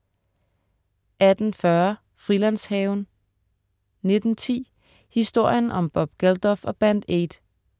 18.40 Frilandshaven* 19.10 Historien om Bob Geldof og Band Aid.